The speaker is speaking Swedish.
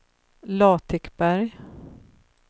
Latikberg